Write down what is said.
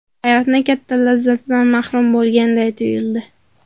Hayotni katta lazzatidan mahrum bo‘lganday tuyuldi.